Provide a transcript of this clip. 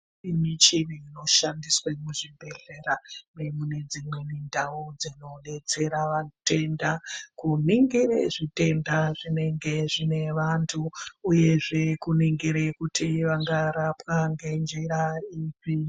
Michini inoshandiswe muzvibhedhlera ngekune dzimweni ndau dzinobetsera vatenda kuningire zvitenda zvinenge zvine vantu uyezve kuningire kuti vangarapwa ngenjira ipi.